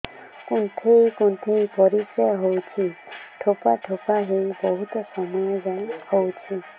କୁନ୍ଥେଇ କୁନ୍ଥେଇ ପରିଶ୍ରା ହଉଛି ଠୋପା ଠୋପା ହେଇ ବହୁତ ସମୟ ଯାଏ ହଉଛି